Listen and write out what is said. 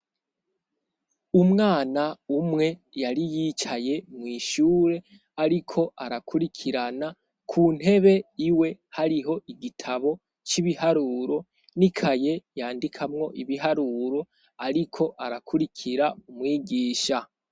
Umwana umwe yari yicaye mw'ishure ariko arakurikirana, ku ntebe iwe hariho igitabo c'ibiharuro n'ikaye yandikamwo ibiharuro ariko arakurikira umwigisha.